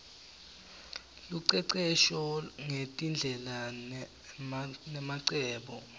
lucecesho ngetindlela nemacebo